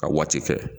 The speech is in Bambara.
Ka waati kɛ